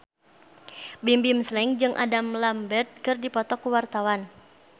Bimbim Slank jeung Adam Lambert keur dipoto ku wartawan